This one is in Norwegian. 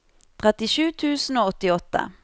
trettisju tusen og åttiåtte